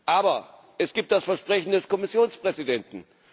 Aber es gibt das Versprechen des Kommissionspräsidenten.